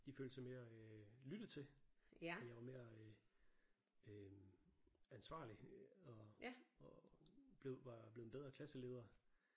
De følte sig mere øh lyttet til og jeg var mere øh øh ansvarlig og og var blevet en bedre klasseleder